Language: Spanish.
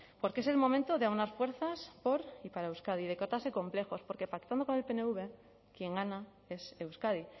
porque es el momento de aunar fuerzas por y para euskadi de quitarse complejos porque pactando con el pnv quien gana es euskadi